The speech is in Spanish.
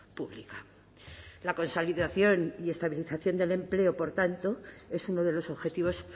pública la consolidación y estabilización del empleo por tanto es uno de los objetivos